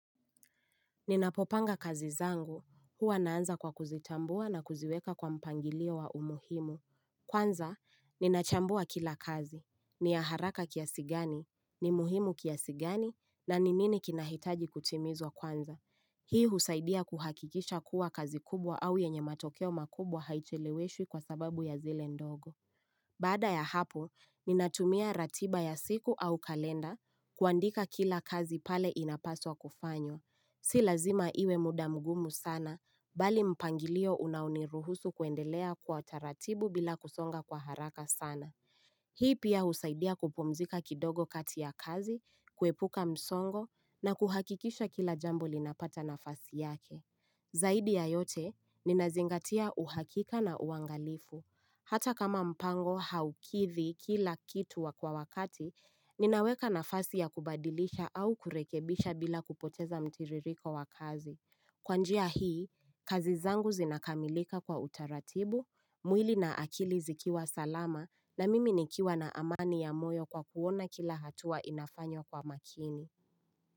Ninapopanga kazi zangu. Huwa naanza kwa kuzitambua na kuziweka kwa mpangilio wa umuhimu. Kwanza, ninachambua kila kazi. Ni ya haraka kiasi gani? Ni muhimu kiasi gani na ni nini kinahitaji kutimizwa kwanza. Hii husaidia kuhakikisha kuwa kazi kubwa au yenye matokeo makubwa haiteleweshwi kwa sababu ya zile ndogo. Baada ya hapo, ninatumia ratiba ya siku au kalenda kuandika kila kazi pale inapaswa kufanywa. Si lazima iwe muda mgumu sana bali mpangilio unaoniruhusu kuendelea kwa taratibu bila kusonga kwa haraka sana. Hii pia husaidia kupumzika kidogo kati ya kazi, kuepuka msongo na kuhakikisha kila jambo linapata nafasi yake. Zaidi ya yote, ninazingatia uhakika na uangalifu. Hata kama mpango haukithi kila kitu wa kwa wakati, ninaweka nafasi ya kubadilisha au kurekebisha bila kupoteza mtiririko wa kazi. Kwa njia hii, kazi zangu zinakamilika kwa utaratibu, mwili na akili zikiwa salama na mimi nikiwa na amani ya moyo kwa kuona kila hatua inafanywa kwa makini.